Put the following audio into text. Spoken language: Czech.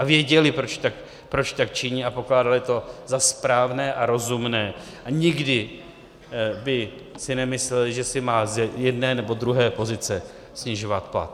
A věděli, proč tak činí, a pokládali to za správné a rozumné a nikdy by si nemysleli, že si má z jedné nebo druhé pozice snižovat plat.